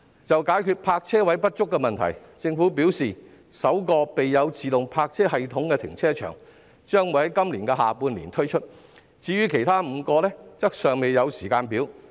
就解決泊車位不足的問題，政府表示首個備有自動泊車系統的停車場將於今年下半年啟用，至於其他5個則尚未有時間表。